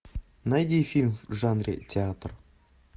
найди фильм в жанре театр